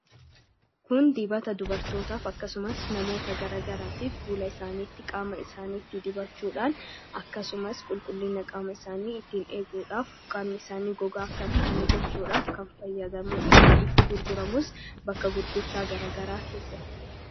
Kun dibata dubartootaaf akkasumas namoota garagaraatiif fuula isaaniitti qaama isaaniiittis diibachuudhaan akkasumas qulqulliina qaama isaanii ittiin eeguudhaaf qaamni isaanii gogaa akka hin taane gochuudhaaf kan fayyadamuudha. Bakka itti gurguramus bakka gurgurtaa garagaraa keessatti.